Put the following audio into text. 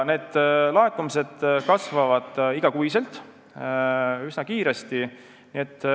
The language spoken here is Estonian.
Laekumised aga kasvavad igakuiselt ja üsna kiiresti.